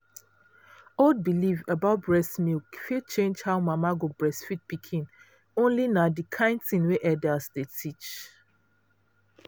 old belief about breast milk fit change how mama go breastfeed pikin only na the kind thing wey elders dey teach.